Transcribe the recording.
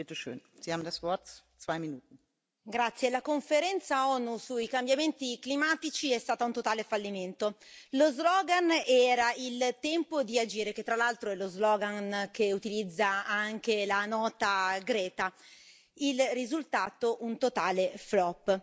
Signor Presidente, onorevoli colleghi, la conferenza ONU sui cambiamenti climatici è stata un totale fallimento. Lo slogan era Il tempo di agire che tra l'altro è lo slogan che utilizza anche la nota Greta il risultato un totale flop.